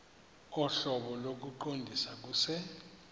ohlobo lokuqondisa kuse